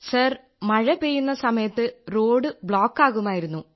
അതെ സർ മഴ പെയ്യുന്ന സമയത്ത് റോഡ് ബ്ലോക്കാകുമായിരുന്നു